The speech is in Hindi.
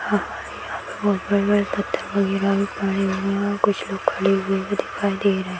यहाँ पे बहुत बड़े-बड़े पत्थर वगैरा भी पड़े हुए और कुछ लोग खड़े हुए भी दिखाई दे रहे --